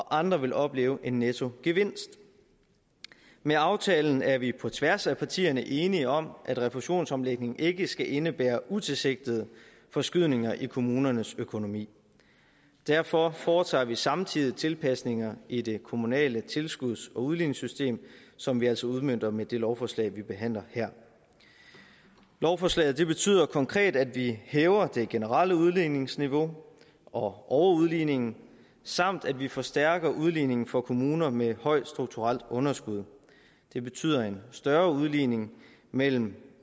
andre vil opleve en nettogevinst med aftalen er vi på tværs af partierne enige om at refusionsomlægningen ikke skal indebære utilsigtede forskydninger i kommunernes økonomi derfor foretager vi samtidig tilpasninger i det kommunale tilskuds og udligningssystem som vi altså udmønter med det lovforslag vi behandler her lovforslaget betyder konkret at vi hæver det generelle udligningsniveau og overudligningen samt at vi forstærker udligningen for kommuner med højt strukturelt underskud det betyder en større udligning mellem